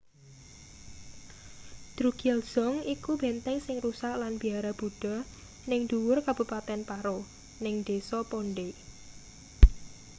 drukgyal dzong iku benteng sing rusak lan biara buddha ning ndhuwur kabupaten paro ning desa phondey